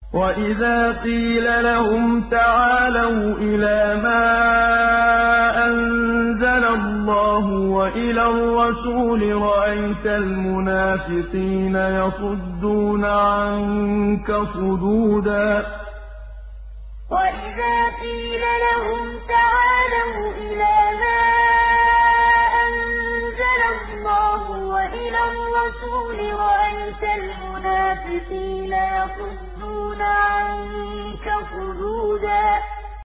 وَإِذَا قِيلَ لَهُمْ تَعَالَوْا إِلَىٰ مَا أَنزَلَ اللَّهُ وَإِلَى الرَّسُولِ رَأَيْتَ الْمُنَافِقِينَ يَصُدُّونَ عَنكَ صُدُودًا وَإِذَا قِيلَ لَهُمْ تَعَالَوْا إِلَىٰ مَا أَنزَلَ اللَّهُ وَإِلَى الرَّسُولِ رَأَيْتَ الْمُنَافِقِينَ يَصُدُّونَ عَنكَ صُدُودًا